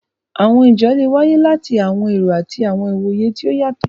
Àwọn ìjà́ le wáyé láti àwọn èró àti àwọn ìwoyè tó o yátọ.